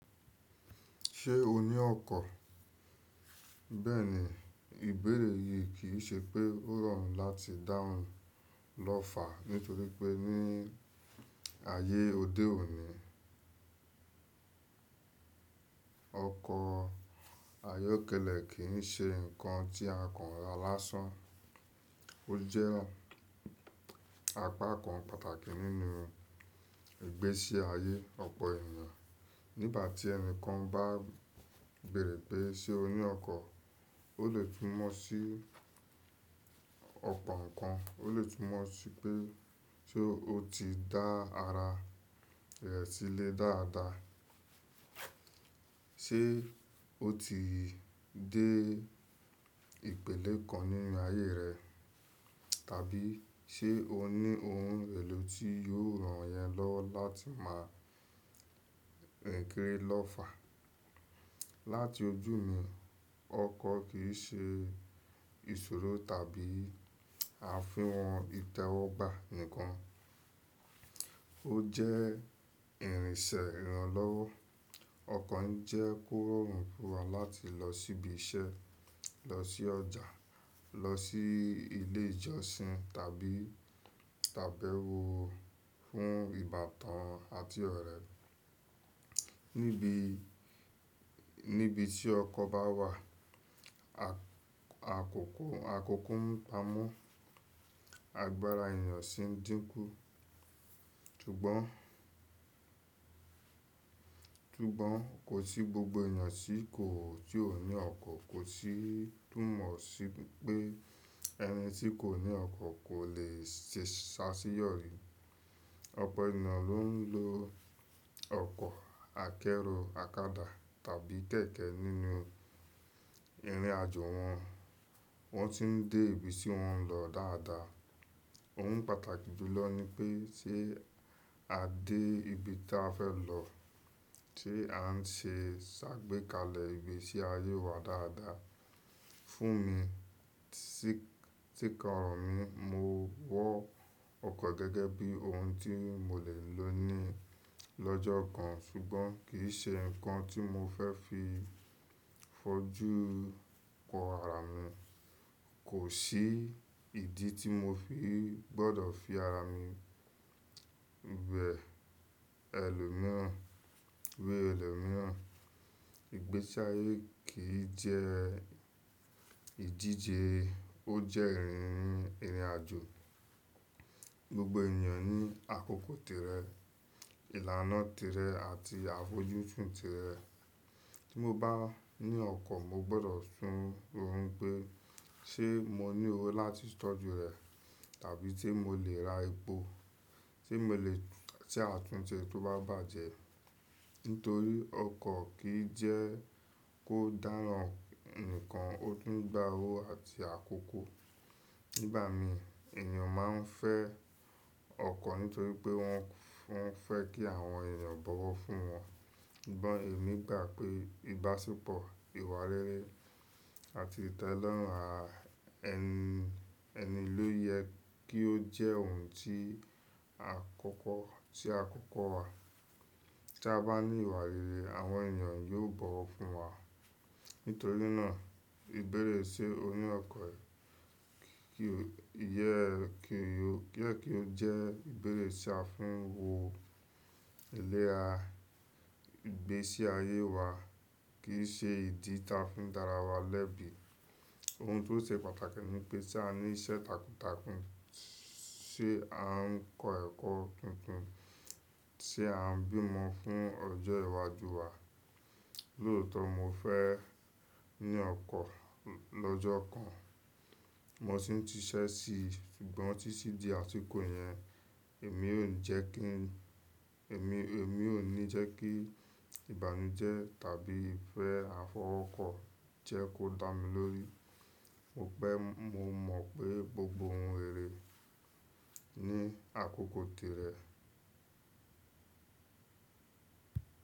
Ṣé o ní ọkọ̀? Bẹ́ẹ̀ni, ìbéèrè yìí kì í ṣe pé ó rọrùn láti dáhùn lọ́fà nítorí pé ní ayé òde òní, ọkọ̀ ayọ́kẹ́lẹ́ kì í ṣe nǹkan tí àkànrà lásán. Ó jẹ́ apá kan pàtàkì nínú ìgbésí ayé ọ̀pọ̀ ènìyàn. Nígbà tí ẹni kan bá béèrè pé ṣe o ní ọkọ̀, ó lè túmọ̀ sí ọ̀pọ̀ ǹkan. Ó lè túmọ̀ sí pé ṣe ó ti dá ara rẹ̀ sílẹ̀ dáadáa, ṣe ó ti dé ìpele kan nínú ayé rẹ̀, tàbí ṣe ó ní ohun èlò tí yóò ràn yẹn lọ́ láti máa rin kiri lọ́fà. Láti ojú mi, ọkọ̀ kì í ṣe ìṣòro tàbí àfihàn ìtẹ́wọ́gbà nkan. Ó jẹ́ ìrìnsẹ̀ ìrànlọ́wọ́. Ọkọ̀ ń jẹ́ kó rọrùn fún wa láti lọ síbi iṣẹ́, lọ sí ọjà, lọ sí ilé ìjọsìn tàbí, tàbí wo fún ìbátan àti ọ̀rẹ́. Níbi, níbi tí ọkọ̀ bá wà, àkókó, àkókó ìpamọ́ àgbára ènìyàn sì ń dínkù. Tugbọ́n, tugbọ́n kò sí gbogbo ènìyàn tí kò, tí ò ní ọkọ̀, kò sì túmọ̀ sí pé ẹni tí kò ní ọkọ̀ kò lè ṣe ṣáṣí yọrí. Ọ̀pọ̀ ènìyàn ló ń lo ọkọ̀ akẹ́rù, akada tàbí kẹ̀kẹ́ nínú ìrìn àjò wọn. Wọ́n sì ń dé ibi tí wọ́n ń lọ dáadáa. Ohun pàtàkì jùlọ ni pé ṣe a dé ibi tí a fẹ́ lọ, ṣe à ń ṣe ṣàgbékalẹ̀ ìgbésí ayé wa dáadáa. Fún mi, tí, tí kọ́rọ̀ mi, mo wọ́ ọkọ̀ gẹ́gẹ́ bí ohun tí mo lè lò ní lọjọ́ kan sugbon kì í ṣe ǹkan tí mo fẹ́ fi fojú kó ara mi. Kò sí ìdí tí mo fi gbọ́dọ̀ fi ara mi wẹ̀ ẹlòmíràn, wẹ̀ ẹlòmíràn. Ìgbésí ayé kì í jẹ́ ìdíje, ó jẹ́ ìrìn, ìrìn àjò. Gbogbo ènìyàn ní àkókò tèré, ìlànà tèré àti àfojúsùn tèré. Tí mo bá ní ọkọ̀, mo gbọ́dọ̀ sún ohun pé ṣe mo ní owó láti tọ́jú rẹ̀ tàbí ṣe mo lè ra epo, ṣe mo lè ṣe àtúnṣe tó bá bàjẹ́. Nítorí ọkọ̀ kì í jẹ́ kó dáràn nìkan, ó tún gba owó àti àkókò. Nígbà mi, ènìyàn máa ń fẹ́ ọkọ̀ nítorí pé wọn fún, fẹ́ kí àwọn ènìyàn bọ̀wọ̀ fún wọn. Sugbon èmi gbà pé ìbáṣepọ̀, ìwà rere àti ìtẹ́lọ́rùn ara ẹni, ẹni ló yẹ kí ó jẹ́ ohun tí àkọ́kọ́, tí àkọ́kọ́ wa. Tí a bá ní ìwà rere, àwọn ènìyàn yóò bọ̀wọ̀ fún wa. Nítorí náà ìbéèrè ṣe o ní ọkọ̀ yẹ kí ó, yẹ kí ó jẹ́ ìbéèrè tí a fi ń wo ìlera ìgbésí ayé wa, kì í ṣe ìdí tí a fi ń dára wa lẹ́bi. Ohun tó ṣe pàtàkì ni pé se a ní iṣẹ́ takuntakun, ṣe à ń kọ́ ẹ̀kọ́ tuntun, ṣe à ń bímọ fún ọjọ́ ìwájú wa. Lóòtọ̀ mo fẹ́ ní ọkọ̀ lọ́jọ́ kan. Mo sì ń ti ṣiṣẹ́ sí i. Sugbọn títí di àsìkò yẹn, èmi ò ní jẹ́ kí, èmi, èmi ò ní jẹ́ kí ìbànújẹ́ tàbí ìfẹ́ àfọwọ́kọ́ jẹ́ kó dá mi lórí. Mo pẹ́, mo mọ̀ pé gbogbo ohun rere ní àkókò tèré.